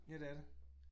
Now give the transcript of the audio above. Ja det er det